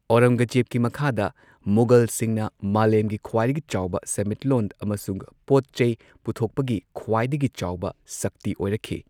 ꯑꯧꯔꯪꯒꯖꯦꯕꯀꯤ ꯃꯈꯥꯗ, ꯃꯨꯘꯜꯁꯤꯡꯅ ꯃꯥꯂꯦꯝꯒꯤ ꯈ꯭ꯋꯥꯏꯗꯒꯤ ꯆꯥꯎꯕ ꯁꯦꯟꯃꯤꯠꯂꯣꯟ ꯑꯃꯁꯨꯡ ꯄꯣꯠ ꯆꯩ ꯄꯨꯊꯣꯛꯄꯒꯤ ꯈ꯭ꯋꯥꯏꯗꯒꯤ ꯆꯥꯎꯕ ꯁꯛꯇꯤ ꯑꯣꯏꯔꯛꯈꯤ꯫